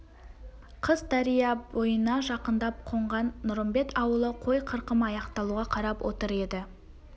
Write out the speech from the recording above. қыс дария бойына жақындап қонған нұрымбет ауылы қой қырқымы аяқталуға қарап отыр еді